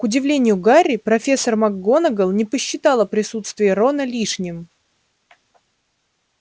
к удивлению гарри профессор макгонагалл не посчитала присутствие рона лишним